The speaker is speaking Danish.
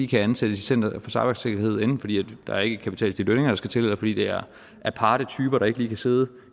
kan ansættes i center for cybersikkerhed enten fordi der ikke er kapital til de lønninger der skal til eller fordi det er aparte typer der ikke lige kan sidde